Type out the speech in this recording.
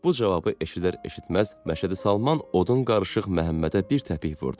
Bu cavabı eşidər-eşitməz Məşədi Salman odun qarışıq Məhəmmədə bir təpik vurdu.